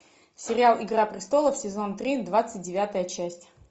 сериал игра престолов сезон три двадцать девятая часть